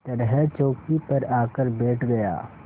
तरह चौकी पर आकर बैठ गया